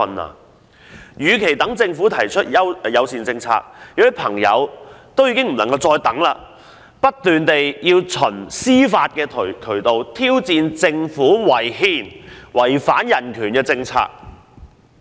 他們認為，與其等政府提出同志友善政策——有人已不能再等——他們倒不如不斷循司法渠道挑戰政府違憲及違反人權的政策。